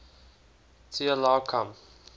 t allow come